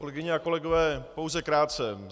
Kolegyně a kolegové, pouze krátce.